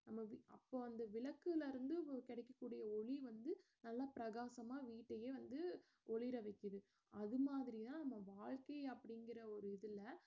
அந்த வீ~ அப்போ அந்த விளக்குல இருந்து கிடைக்கக்கூடிய ஒளி வந்து நல்லா பிரகாசமா வீட்டையே வந்து ஒளிர வைக்குது அதுமாதிரிதான் நம்ம வாழ்க்கையும் அப்படிங்கற ஒரு இதுல